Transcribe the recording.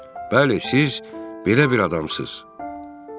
Bəli, siz belə bir adamsınız.